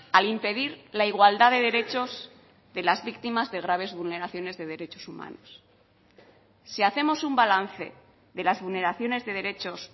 al impedir la igualdad de derechos de las víctimas de graves vulneraciones de derechos humanos si hacemos un balance de las vulneraciones de derechos